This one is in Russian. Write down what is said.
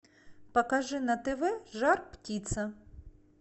покажи на тв жар птица